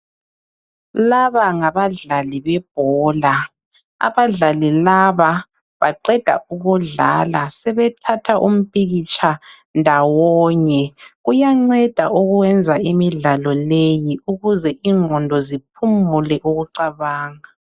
Laba ngabadlali bebhola. Abadlali laba baqeda ukudlala sebethatha umpikitsha ndawonye. Kuyanceda ukwenza imidlalo leyi ukuze ingqondo ziphumule ukucabanga.